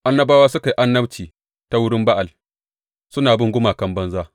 Annabawa suka yi annabci ta wurin Ba’al, suna bin gumakan banza.